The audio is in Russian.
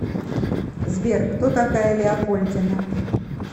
сбер кто такая леопольдина